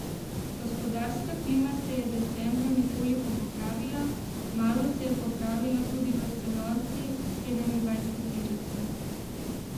Gospodarska klima se je decembra nekoliko popravila, malo se je popravila tudi v celotni sedemindvajseterici.